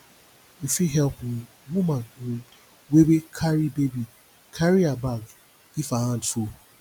you fit help um woman um wey wey carry baby carry her bag if her hand full